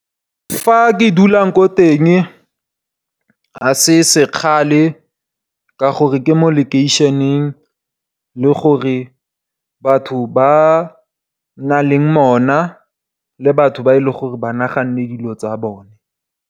Fa ke dulang ko teng ga se sekgale ka gore ke mo lekeišeneng, le gore batho ba na le mona, le batho ba e le gore ba naganneng dilo tsa bone.